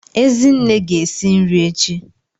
Ezinne ga-esi nri echi.